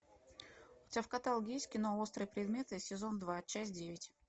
у тебя в каталоге есть кино острые предметы сезон два часть девять